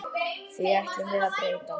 Því ætlum við að breyta.